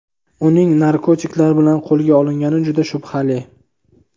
Uning narkotiklar bilan qo‘lga olingani juda shubhali.